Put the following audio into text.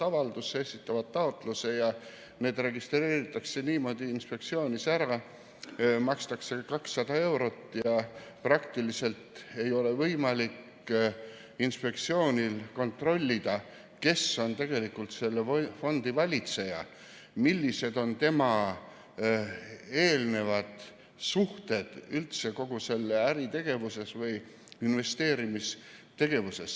Nad esitavad taotluse ja nad registreeritakse inspektsioonis niimoodi, et makstakse 200 eurot ja inspektsioonil praktiliselt ei olegi võimalik kontrollida, kes on tegelikult selle fondi valitseja, millised on tema varasemad suhted kogu selles äri- või investeerimistegevuses.